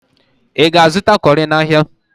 Ị ga-azụta cọrị n'ahịa?